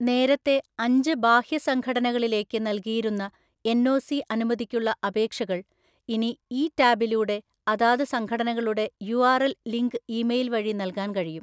നേരത്തെ അഞ്ച് ബാഹ്യ സംഘടനകളിലേക്ക് നൽകിയിരുന്ന എൻഒസി അനുമതിക്കുള്ള അപേക്ഷകൾ ഇനി ഈ ടാബിലൂടെ അതാത് സംഘടനകളുടെ യുആർഎൽ ലിങ്ക് ഇമെയിൽ വഴി നൽകാൻ കഴിയും.